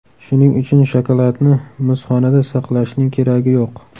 Shuning uchun shokoladni muzxonada saqlashning keragi yo‘q.